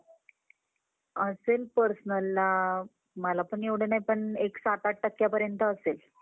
Okay ma'am. यात काही um fraud वगैरे पण होऊ शकत का ma'am?